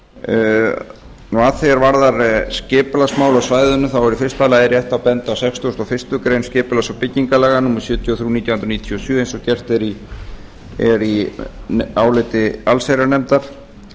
að því er varðar skipulagsmál á svæðinu er í fyrsta lagi rétt að benda á sextugasta og fyrstu grein skipulags og byggingarlaga númer sjötíu og þrjú nítján hundruð níutíu og sjö eins og gert er í áliti allsherjarnefndar